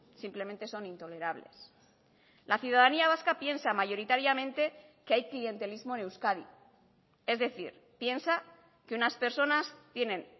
simplemente son intolerables la ciudadanía vasca piensa mayoritariamente que hay clientelismo en euskadi es decir piensa que unas personas tienen